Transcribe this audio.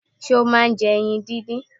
Ṣé ọ máà ń jẹ ẹyin díndín?